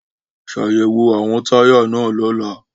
Ṣayẹwo awọn taya naa lọla!